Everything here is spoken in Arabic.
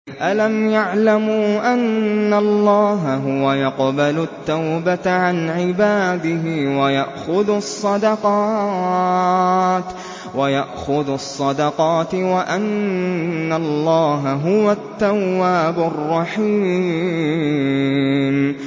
أَلَمْ يَعْلَمُوا أَنَّ اللَّهَ هُوَ يَقْبَلُ التَّوْبَةَ عَنْ عِبَادِهِ وَيَأْخُذُ الصَّدَقَاتِ وَأَنَّ اللَّهَ هُوَ التَّوَّابُ الرَّحِيمُ